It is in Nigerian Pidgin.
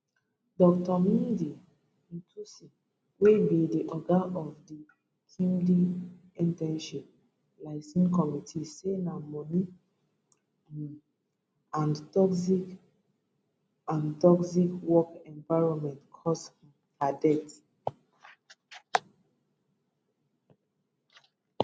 dr muinde nthusi wey be di oga of di kmpdi internship liason committee say na money um and toxic and toxic work environment cause her death